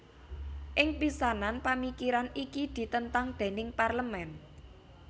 Ing pisanan pamikiran iki ditentang déning Parlemen